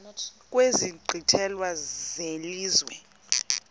kwezi nkqwithela zelizwe